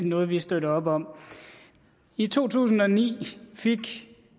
noget vi støtter op om i to tusind og ni fik